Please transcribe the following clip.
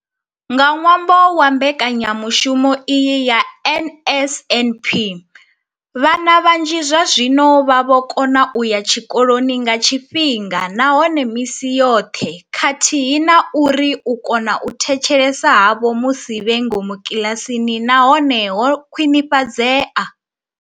Nga ṅwambo wa mbekanyamushumo iyi ya NSNP, vhana vhanzhi zwazwino vha vho kona u ya tshikoloni nga tshifhinga nahone misi yoṱhe khathihi na uri u kona u thetshelesa havho musi vhe ngomu kiḽasini na hone ho khwinifhadzea.